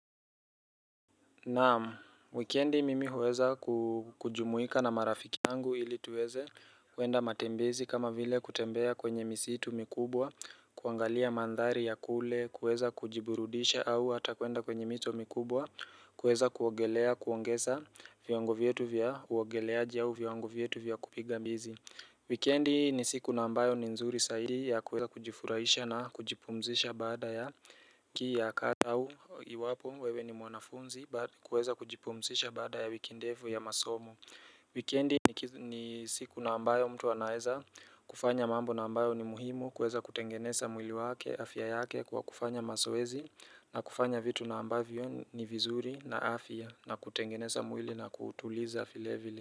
Naamu, wikendi mimi huweza kujumuika na marafiki angu ili tuweze kuenda matembezi kama vile kutembea kwenye misitu mikubwa kuangalia mandhari ya kule kuweza kujiburudisha au hata kuenda kwenye mito mikubwa kuweza kuongelea kuongeza viango vyetu vya uongeleaji ya uviango vietu vya kupiga mbizi Wikendi ni siku nambayo ni nzuri saidi ya kuweza kujifurahisha na kujipumzisha baada ya wikii ya kazi au iwapo wewe ni mwanafunzi kuweza kujipumzisha bada ya wiki ndevu ya masomo Wikendi ni siku na ambayo mtu anaeza kufanya mambo na ambayo ni muhimu kuweza kutengeneza mwili wake afya yake kwa kufanya masowezi na kufanya vitu na ambavio ni vizuri na afya na kutengeneza mwili na kutuliza filevili.